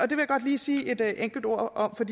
godt lige sige et enkelt ord om for